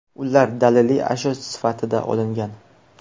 Ular daliliy ashyo sifatida olingan.